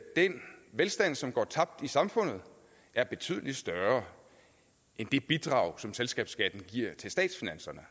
den velstand som går tabt i samfundet er betydelig større end det bidrag som selskabsskatten giver til statsfinanserne